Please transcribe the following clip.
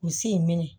U si minɛ